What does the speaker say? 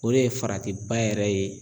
O de ye farati ba yɛrɛ ye.